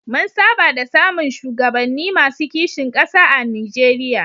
Mun saba da samun shugabanni masu kishin ƙasa a Nijeriya.